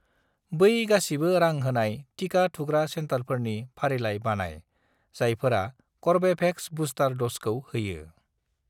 बै गासिबो रां होनाय टिका थुग्रा सेन्टारफोरनि फारिलाइ बानाय जायफोरा कर्वेभेक्सनि बुस्टार द'जखौ होयो।